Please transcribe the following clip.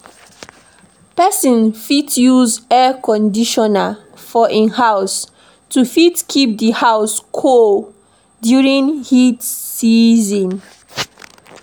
Person fit use Air Conditioner for im house to fit keep di house cool during heat season